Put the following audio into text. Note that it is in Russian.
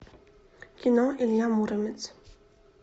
кино илья муромец